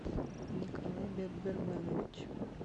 николай бекберганович